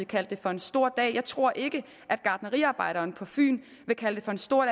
kaldte det for en stor dag jeg tror ikke gartneriarbejderen på fyn vil kalde det for en stor